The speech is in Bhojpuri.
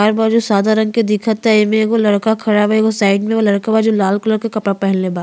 जो सादा रंग के दिखता एमें एगो लड़का खड़ा बा। एगो साइड में लड़कवा जो लाल कलर के कपड़ा पहिनले बा।